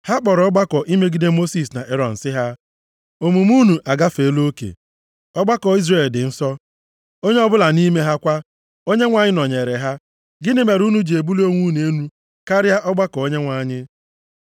Ha kpọrọ ọgbakọ imegide Mosis na Erọn sị ha, “Omume unu agafeela oke! Ọgbakọ Izrel dị nsọ, onye ọbụla nʼime ha kwa. Onyenwe anyị nọnyeere ha. Gịnị mere unu ji ebuli onwe unu elu karịa ọgbakọ Onyenwe anyị?”